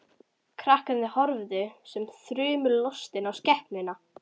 Krakkarnir horfðu sem þrumulostin á skepnuna.